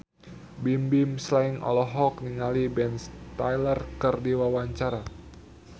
Bimbim Slank olohok ningali Ben Stiller keur diwawancara